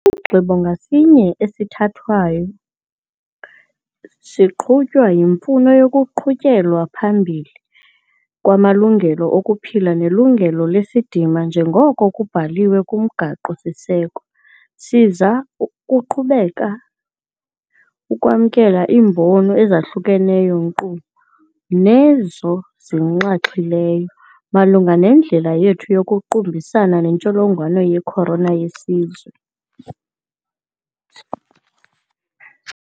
Isigqibo ngasinye esisithathayo siqhutywa yimfuno yokuqhutyelwa phambili kwamalungelo okuphila nelungelo lesidima njengoko kubhaliwe kuMgaqo-siseko. Siza kuqhubeka ukwamkela iimbono ezahlukeneyo - nkqu nezo zinxaxhileyo - malunga nendlela yethu yokuqubisana netsholongwane ye-corona yesizwe.